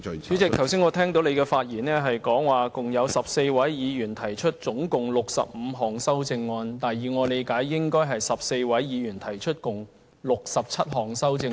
主席，我剛才聽你提到，有14位議員提出合共65項修正案，但以我理解，應有14位議員提出合共67項修正案。